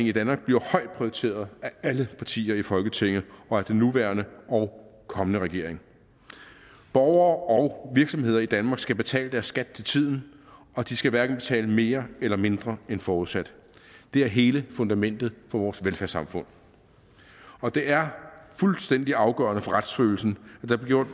i danmark bliver højt prioriteret af alle partier i folketinget og af den nuværende og kommende regering borgere og virksomheder i danmark skal betale deres skat til tiden og de skal hverken betale mere eller mindre end forudsat det er hele fundamentet for vores velfærdssamfund og det er fuldstændig afgørende for retsfølelsen at der bliver